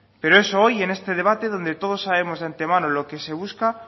pero eso hoy en este debate donde todos sabemos de antemano lo que se busca